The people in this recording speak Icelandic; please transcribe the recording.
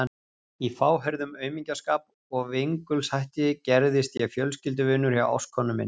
Í fáheyrðum aumingjaskap og vingulshætti gerðist ég fjölskylduvinur hjá ástkonu minni.